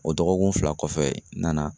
O dɔgɔkun fila kɔfɛ n nana